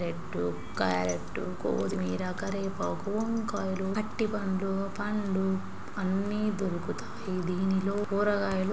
Beetroot carrot కొత్తిమీర కరివేపాకు వంకాయలు అరటి పండ్లు పండు అన్ని దొరుకుతాయి. దీనిలో కూరగాయలు---